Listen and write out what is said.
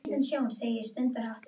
Og þar hefur vægast sagt skipt um tón